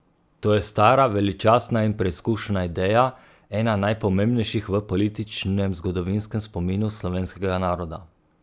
To je stara, veličastna in preizkušena ideja, ena najpomembnejših v političnem zgodovinskem spominu slovenskega naroda.